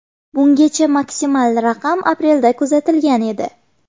Bungacha maksimal raqam aprelda kuzatilgan edi.